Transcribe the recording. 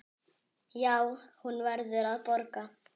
Já, hún verður að borga.